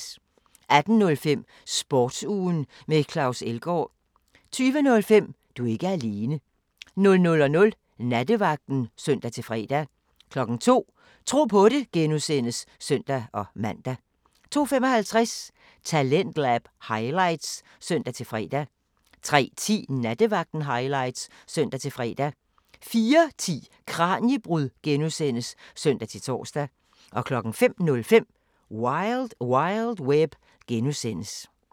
18:05: Sportsugen med Claus Elgaard 20:05: Du er ikke alene 00:00: Nattevagten (søn-fre) 02:00: Tro på det (G) (søn-man) 02:55: Talentlab highlights (søn-fre) 03:10: Nattevagten highlights (søn-fre) 04:10: Kraniebrud (G) (søn-tor) 05:05: Wild Wild Web (G)